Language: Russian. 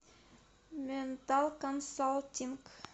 ментал консалтинг